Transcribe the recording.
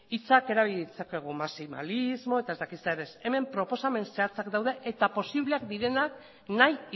hitzak erabili ditzakegu maximalismo eta ez dakit zer ez hemen proposamen zehatzak daude eta posible direnak nahi